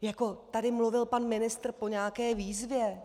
Jako tady mluvil pan ministr o nějaké výzvě.